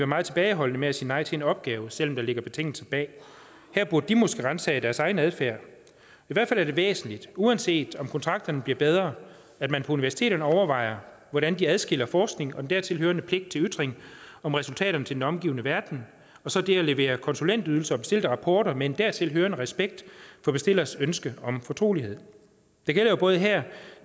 meget tilbageholdende med at sige nej til en opgave selv om der ligger betingelser bag her burde de måske ransage deres egen adfærd i hvert fald er det væsentligt uanset om kontrakterne bliver bedre at man på universiteterne overvejer hvordan de adskiller forskning og den dertil hørende pligt til en ytring om resultaterne til den omgivende verden og så det at levere konsulentydelser og bestilte rapporter med en dertil hørende respekt for bestillers ønsker om fortrolighed det gælder jo både her